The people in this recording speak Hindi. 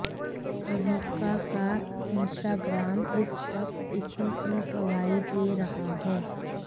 अविका का इंस्टाग्राम इस वक्त इसी की गवाही दे रहा है